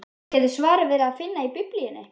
Gæti svarið verið að finna í Biblíunni?